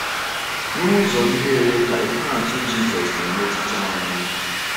N’ụzọ ndị olee ka ihe atụ Jisọs na-emetụta anyị?